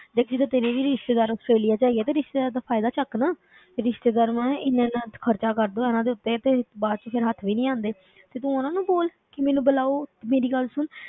ਦੇਖ ਜਿੱਦਾਂ ਤੇਰੇ ਵੀ ਰਿਸ਼ਤੇਦਾਰ ਆਸਟ੍ਰੇਲੀਆ ਵਿੱਚ ਹੈਗੇ ਆ ਤੇ ਰਿਸ਼ਤੇਦਾਰ ਦਾ ਫ਼ਾਇਦਾ ਚੁੱਕ ਨਾ ਤੇ ਰਿਸ਼ਤੇਦਾਰਾਂ ਨੇ ਇੰਨਾ ਇੰਨਾ ਖ਼ਰਚਾ ਕਰ ਦਿੱਤਾ ਇਹਨਾਂ ਦੇ ਉੱਤੇ ਤੇ ਬਾਅਦ ਵਿੱਚ ਫਿਰ ਹੱਥ ਵੀ ਨੀ ਆਉਂਦੇ ਤੇ ਤੂੰ ਉਹਨਾਂ ਨੂੰ ਬੋਲ ਕਿ ਮੈਨੂੰ ਬੁਲਾਓ, ਤੇ ਮੇਰੀ ਗੱਲ ਸੁਣ,